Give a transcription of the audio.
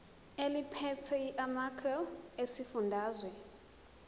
eliphethe lamarcl esifundazwe